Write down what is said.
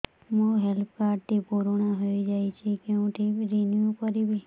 ମୋ health card ଟି ପୁରୁଣା ହେଇଯାଇଛି କେଉଁଠି ରିନିଉ କରିବି